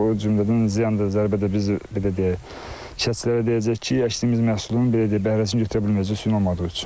O cümlədən ziyan da, zərbə də biz belə deyək, əkinçilərə deyəcəyik ki, əkdiyimiz məhsulun belə deyək, bəhrəsini götürə bilməyəcəyik suyun olmadığı üçün.